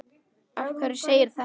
Af hverju segirðu þetta?